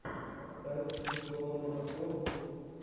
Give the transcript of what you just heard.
поставь веселого накорушку